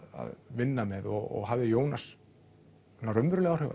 vinna með og hafði Jónas raunveruleg áhrif á